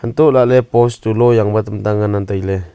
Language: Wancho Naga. hantoh lah ley post chu lo yang ngan ley tai ley.